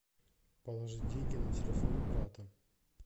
положи деньги на телефон брата